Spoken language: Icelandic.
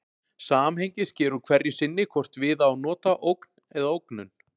Samhengið sker úr hverju sinni hvort við á að nota ógn eða ógnun.